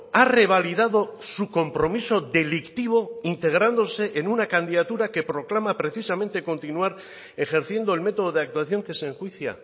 ha revalidado su compromiso delictivo integrándose en una candidatura que proclama precisamente continuar ejerciendo el método de actuación que se enjuicia